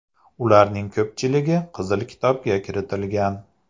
Ularning ko‘pchiligi Qizil kitobga kiritilgan.